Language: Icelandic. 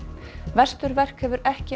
vesturverk hefur ekki